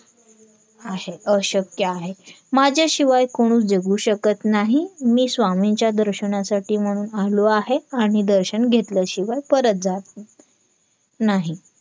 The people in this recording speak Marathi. आहे अशक्य आहे माझ्याशिवाय कुणी जगू शकत नाही मी स्वामींच्या दर्शनासाठी म्हणून आलो आहे आणि दर्शन घेतल्या शिवाय परत जात नाही